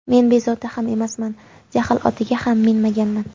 Men bezovta ham emasman, jahl otiga ham minmaganman.